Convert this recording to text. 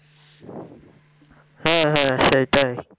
হ্যাঁ হ্যাঁ সেটাই